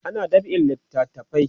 ana dab'in littafai